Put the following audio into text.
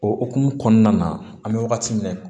O hokumu kɔnɔna na an bɛ wagati min na